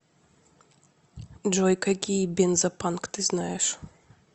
джой какие бензопанк ты знаешь